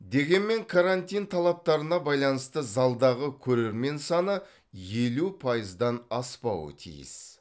дегенмен карантин талаптарына байланысты залдағы көрермен саны елу пайыздан аспауы тиіс